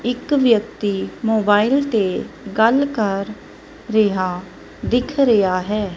ਇੱਕ ਵਿਅਕਤੀ ਮੋਬਾਈਲ ਤੇ ਗੱਲ ਕਰ ਰਿਹਾ ਦਿੱਖ ਰਿਹਾ ਹੈ।